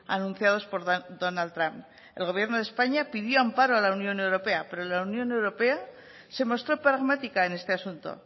anunciados por donald trump el gobierno de españa pidió amparo a la unión europea pero la unión europea se mostró pragmática en este asunto